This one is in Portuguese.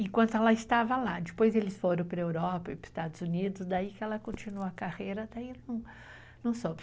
Enquanto ela estava lá, depois eles foram para a Europa e para os Estados Unidos, daí que ela continuou a carreira, daí não soube.